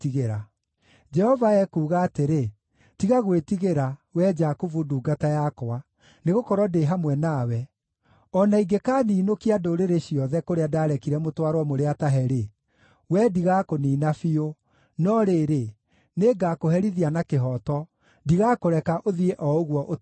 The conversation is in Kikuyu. Jehova ekuuga atĩrĩ “Tiga gwĩtigĩra, wee Jakubu ndungata yakwa, nĩgũkorwo ndĩ hamwe nawe. o na ingĩkaniinũkia ndũrĩrĩ ciothe kũrĩa ndarekire mũtwarwo mũrĩ atahe-rĩ, wee ndigakũniina biũ, no rĩrĩ, nĩngakũherithia na kĩhooto; ndigakũreka ũthiĩ o ũguo ũtaherithĩtio.”